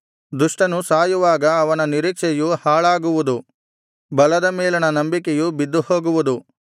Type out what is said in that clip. ದುಷ್ಟನು ಸಾಯುವಾಗ ಅವನ ನಿರೀಕ್ಷೆಯು ಹಾಳಾಗುವುದು ಬಲದ ಮೇಲಣ ನಂಬಿಕೆಯು ಬಿದ್ದುಹೋಗುವುದು